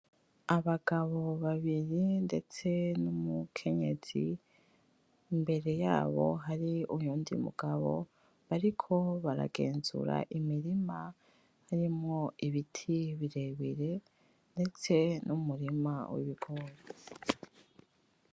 Abagabo babiri ndetse n'umukenyezi , imbere yabo hari uyundi mugabo , bariko baragenzura imirima irimwo ibiti birebire ndetse n'umurima w'ibigori .